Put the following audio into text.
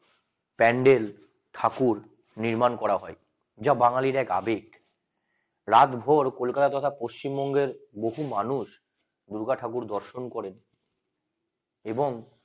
প্যান্ডেল ঠাকুর নির্মাণ করা হয় যা বাঙালির এক আবেগ রাত ভোর কলকাতা পশ্চিমবঙ্গের বহু মানুষ দুর্গা ঠাকুর দর্শন করেন এবং